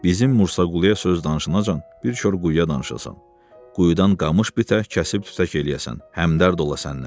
"Bizim Mursaquluya söz danışınca bir kor quyuya danışasan, quyudan qamış bitək kəsib tütək eləyəsən, həmdərd ola səndən.